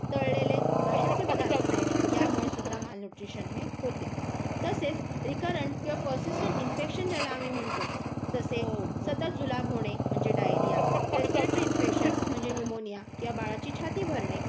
तळलेले बाहेरचे पदार्थ देणे, यामुळे सुद्धा माल न्यूट्रिशन हे होते. तसेच रिकरंट किंवा परसिस्टंट इन्फेक्शन ज्याला आम्ही म्हणतो. जसे सतत जुलाब होणे, म्हणजे डायरिया रेस्पिरेटरी इंसपेक्षन्स म्हणजे न्यूमोनिया किंवा बाळाची छाती भरणे,